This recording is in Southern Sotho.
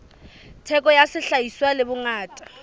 theko ya sehlahiswa le bongata